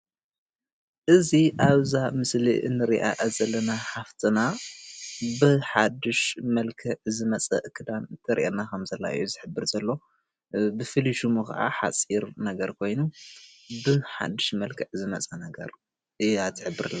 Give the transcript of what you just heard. እዚ ኣብዛ ምስሊ እንሪኣ ዘለና ሓፍትና ብሓዱሽ መልክዕ ዝመፅእ ክዳን ኣከዳድና ከም ዝሕብር ዘርእየና ዘሎ፡፡ ብፍሉይ ሽሙ ከዓ ሓፅር ነገር ኮይኑ ብሓዱሽ መልክዕ ዝመፀ ነገር እያ ትሕብር ዘላ፡፡